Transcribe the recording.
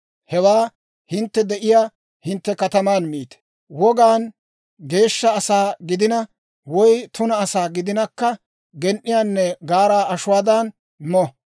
Hewaa hintte de'iyaa hintte kataman miite; wogaan geeshsha asaa gidina, woy tuna asaa gidinakka gen"iyaanne gaaraa ashuwaadan mo.